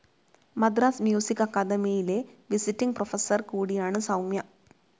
Madras music അക്കാദമിയിലെ visiting professor കൂടിയാണ് സൗമ്യ.